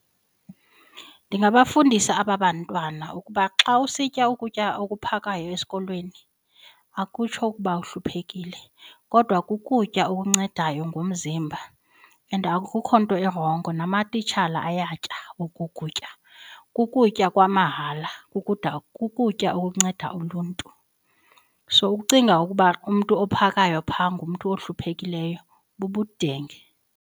Ndingabafundisa aba bantwana ukuba xa usitya ukutya okuphakayo esikolweni akutsho ukuba uhluphekile kodwa kukutya okuncedayo ngomzimba and akukho nto irongo namatitshala ayatya oku kutya, kukutya kwamahala kukutya okunceda uluntu. So ukucinga ukuba umntu ophakayo phaa ngumntu ohluphekayo bubudenge.